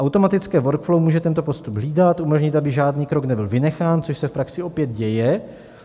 Automatické workflow může tento postup hlídat, umožnit, aby žádný krok nebyl vynechán, což se v praxi opět děje.